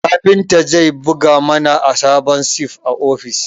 Kafinta zai buga mana sabon sif a ofis